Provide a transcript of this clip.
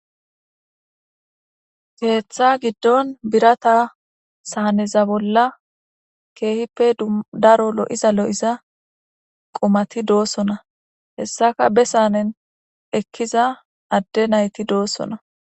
Keeththa giddon birata saaneza bolla keehippe daro lo7iza lo7iza qumati doosona hessaka be saanen ekkiza adde nayti doossona.